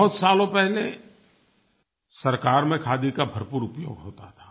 बहुत सालों पहले सरकार में खादी का भरपूर उपयोग होता था